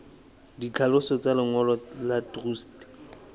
ditlhaloso tsa lengolo la truste